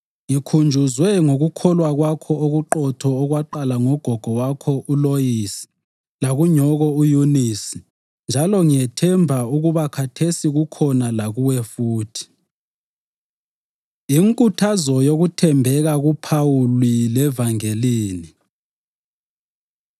Ngikhunjuzwe ngokukholwa kwakho okuqotho okwaqala kugogo wakho uLoyisi lakunyoko uYunisi njalo ngiyathemba ukuba khathesi kukhona lakuwe futhi. Inkuthazo Yokuthembeka KuPhawuli Levangelini